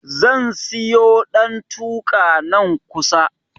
Zan siyo ɗantuka, nan kusa.